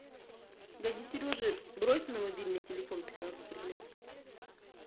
дяде сереже брось на мобильный телефон пятнадцать рублей